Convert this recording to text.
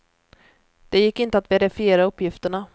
Det gick inte att verifiera uppgifterna.